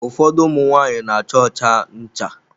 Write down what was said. Ụfọdụ ụmụ nwanyị n'acha ọcha ncha.